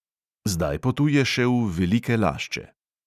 Zdaj potuje še v velike lašče.